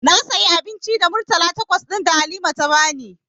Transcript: Na sayi abinci da murtala takwas ɗin da Halima ta bani.